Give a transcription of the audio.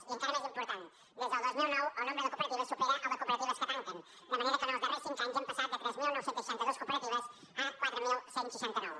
i encara més important des del dos mil nou el nombre de cooperatives supera el de cooperatives que tanquen de manera que els darrers cinc anys hem passat de tres mil nou cents i seixanta dos cooperatives a quatre mil cent i seixanta nou